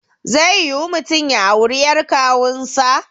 Zai yiwu mutum ya auri ƴar kawun sa